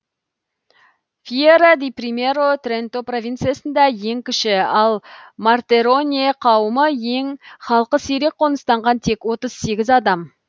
фьера ди примьеро тренто провинциясында ең кіші ал мортероне кауымы ең халқы сирек қоныстанған тек адам